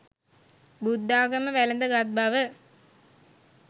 බුද්ධාගම වැළඳ ගත් බව